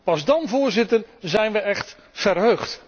Pas dan, Voorzitter, zijn we écht verheugd.